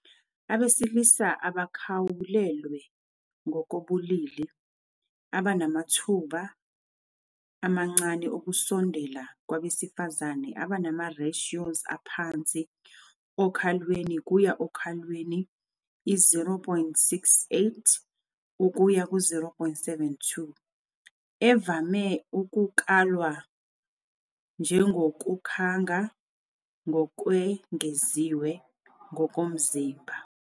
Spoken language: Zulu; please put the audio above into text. Abesilisa abakhawulelwe ngokobulili abanamathuba amancane okusondela kwabesifazane abanama-ratios aphansi okhalweni kuya okhalweni, i-0.68-0.72, evame ukukalwa njengokukhanga ngokwengeziwe ngokomzimba.